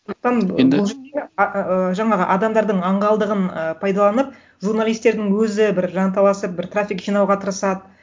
жаңағы адамдардың аңғалдығын ы пайдаланып журналистердің өзі бір жанталасып бір трафик жинауға тырысады